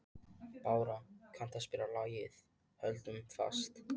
Bára, kanntu að spila lagið „Höldum fast“?